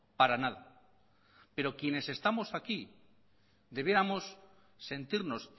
para nada pero quienes estamos aquí debiéramos sentirnos